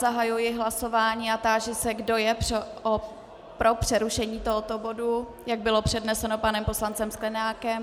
Zahajuji hlasování a táži se, kdo je pro přerušení tohoto bodu, jak bylo předneseno panem poslancem Sklenákem.